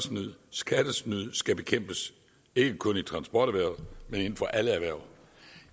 skattesnyd skal bekæmpes ikke kun i transporterhvervet men inden for alle erhverv